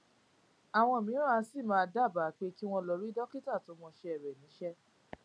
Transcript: àwọn mìíràn sì máa ń dábàá pé kí n lọ rí dókítà tó mọṣé rè níṣé